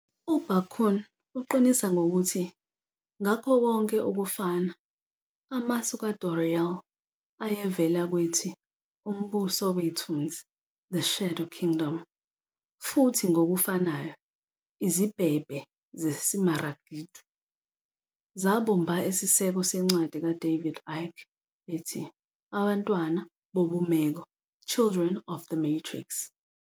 U-Barkun uqinisa ngokuthi "ngakho konke ukufana", amasu ka-Doreal ayevela kwethi "Umbuso wethunzi" "The Shadow Kingdom", futhi ngokufanayo, "Izibhebhe zesimaragidu " zabumba isiseko sencwadi ka-David Icke ethi, Abantwana bobumeko "Children of the Matrix".